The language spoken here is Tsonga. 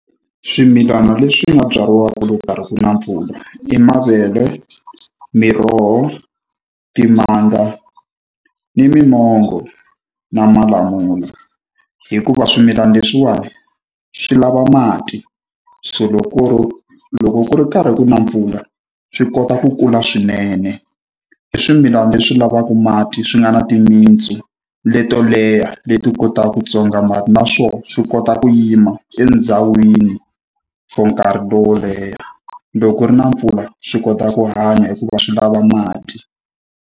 Swimilana leswi nga byariwaka loko ku karhi ku na mpfula i mavele, miroho, timanga, ni mimango, na malamula. Hikuva swimilana leswiwani swi lava mati, so loko ku ri karhi ku na mpfula, swi kota ku kula swinene. I swimilana leswi lavaka mati swi nga na timitsu leto leha, leti kotaka ku tswonga mati, naswona swi kota ku yima endhawini for nkarhi wo leha. Loko ku ri na mpfula swi kota ku hanya hikuva swi lava mati.